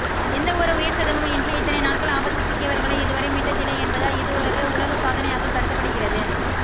எந்த ஒரு உயிர்ச்சேதமும் இன்றி இத்தனை நாட்கள் ஆபத்தில் சிக்கியவர்களை இதுவரை மீட்டதில்லை என்பதால் இதுவொரு உலக சாதனையாக கருதப்படுகிறது